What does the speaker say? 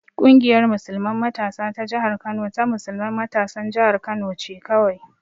Ƙungiyar musulman matasa ta jihar Kano ta musulman matasan jihar Kano ce kawai.